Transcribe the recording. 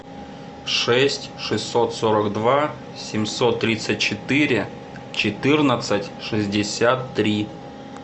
шесть шестьсот сорок два семьсот тридцать четыре четырнадцать шестьдесят три